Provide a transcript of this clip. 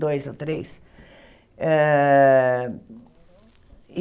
Dois ou três. Eh e